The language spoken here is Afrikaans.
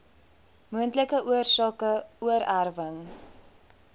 moontlike oorsake oorerwing